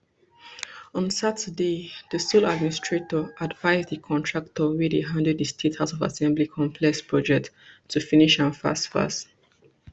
on saturday di sole administrator advise di contractor wey dey handle di state house of assembly complex project to finish am fast fast